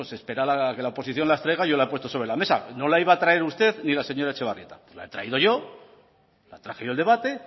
pues espera a que la oposición las traiga y yo las he puesto sobre la mesa no la iba a traer usted ni la señora etxebarrieta la he traído yo la traje yo al debate